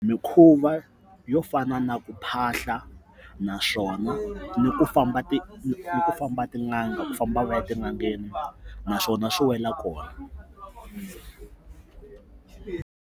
Mikhuva yo fana na ku phahla naswona ni ku famba famba tin'anga ku famba va ya etin'angeni naswona swi wela kona.